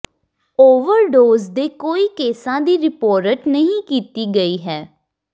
overdose ਦੇ ਕੋਈ ਕੇਸਾਂ ਦੀ ਰਿਪੋਰਟ ਨਹੀਂ ਕੀਤੀ ਗਈ ਹੈ